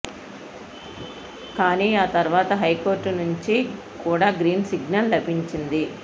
కానీ ఆ తర్వాత హైకోర్టు నుంచి కూడా గ్రీన్ సిగ్నల్ లభించింది